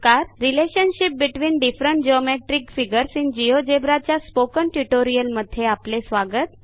relationship between different geometric figures in GeoGebra च्या spoken ट्युटोरियलमध्ये आपले स्वागत